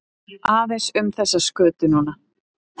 Aðeins um þessa skötu núna?